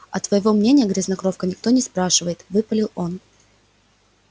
а твоего мнения грязнокровка никто не спрашивает выпалил он